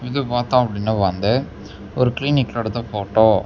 இது பாத்தா அப்படின்னா வந்து ஒரு கிளினிக்ல எடுத்த ஃபோட்டோ .